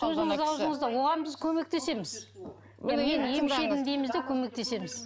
сөзіңіз ауызыңызда оған біз көмектесміз емші едім дейміз де көмектесеміз